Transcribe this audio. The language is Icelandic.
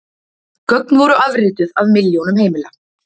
Gögn voru afrituð af milljónum heimila